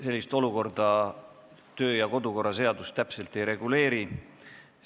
Sellist olukorda kodu- ja töökorra seadus täpselt ei reguleeri.